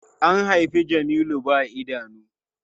An haifi Jamilu ba idanu.